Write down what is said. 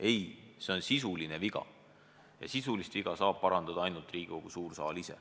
Ei, see on sisuline viga ja sisulise vea saab parandada ainult Riigikogu suur saal.